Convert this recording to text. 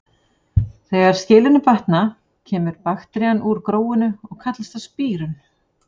Þegar skilyrðin batna kemur bakterían úr gróinu og kallast það spírun.